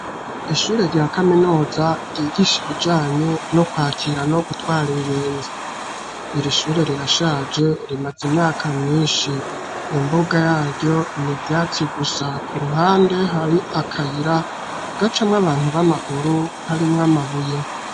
Ishure rya kaminuza ryigisha ibijanye no kwakira no gutwara ingenzi ,iri shure rirashaje rimaze imyaka myinshi, imbuga yaryo ni vyatsi gusa ku ruhande hari akayira gaca mw'abantu b'amaguru harimw 'amabuye.